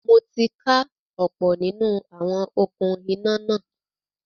Mo ti ká ọ̀pọ̀ nínú àwọn “okún iná” náà.